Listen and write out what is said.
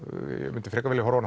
myndi frekar vilja horfa